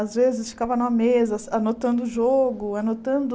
Às vezes, ficava numa mesa, as anotando o jogo, anotando...